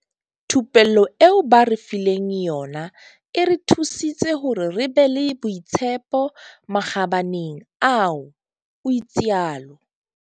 Thupello eo ba re fileng yona e re thusitse hore re be le boitshepo makgabaneng ao, o itsalo.